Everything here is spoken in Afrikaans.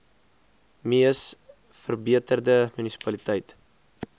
mees verbeterde munisipaliteit